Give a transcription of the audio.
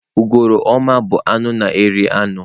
Ugoloọma bụ nnụnụ na-eri anụ.